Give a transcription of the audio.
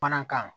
Mana kan